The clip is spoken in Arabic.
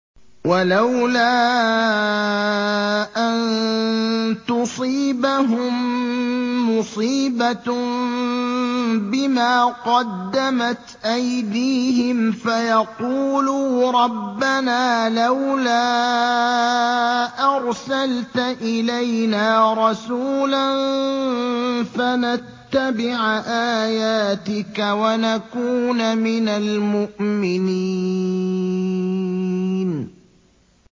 وَلَوْلَا أَن تُصِيبَهُم مُّصِيبَةٌ بِمَا قَدَّمَتْ أَيْدِيهِمْ فَيَقُولُوا رَبَّنَا لَوْلَا أَرْسَلْتَ إِلَيْنَا رَسُولًا فَنَتَّبِعَ آيَاتِكَ وَنَكُونَ مِنَ الْمُؤْمِنِينَ